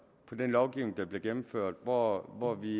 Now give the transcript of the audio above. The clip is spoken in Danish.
på den lovgivning der bliver gennemført hvor hvor vi